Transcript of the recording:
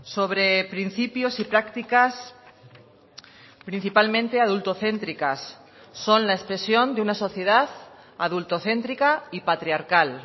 sobre principios y prácticas principalmente adultocéntricas son la expresión de una sociedad adultocéntrica y patriarcal